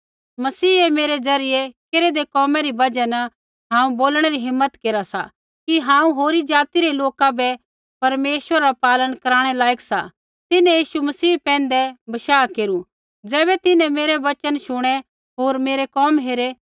मसीहै मेरै ज़रियै केरेदै कोमा री बजहा न हांऊँ बोलणै री हिम्मत केरा सा कि हांऊँ होरी ज़ाति रै लोका बै परमेश्वरा रा पालन कराणै लायक सा तिन्हैं यीशु मसीह पैंधै बशाह केरू ज़ैबै तिन्हैं मेरै वचन शुणै होर मेरै कोम हेरै